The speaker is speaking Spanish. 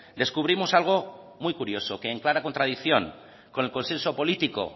descubrimos algo muy curioso que en clara contradicción con el consenso político